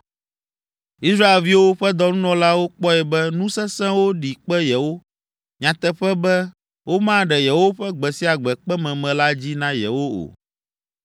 Israelviwo ƒe dɔnunɔlawo kpɔe be nu sesẽwo ɖi kpe yewo nyateƒe be womaɖe yewoƒe gbe sia gbe kpememe la dzi na yewo o.